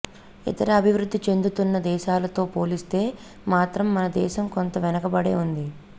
ఇతర అభివృద్ధి చెందుతున్న దేశాలతో పోలిస్తే మాత్రం మనదేశం కొంత వెనకబడే ఉంది